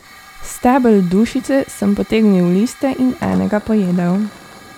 S stebel dušice sem potegnil liste in enega pojedel.